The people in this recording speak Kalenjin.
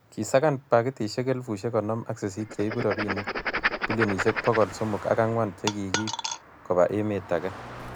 kisakan pakitisiek elfusiek konom ak sisit che ibu robinik bilionisiek bokol somok ak ang'wan che kikiib koba emet age